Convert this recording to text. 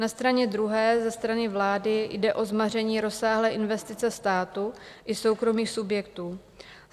Na straně druhé ze strany vlády jde o zmaření rozsáhlé investice státu i soukromých subjektů.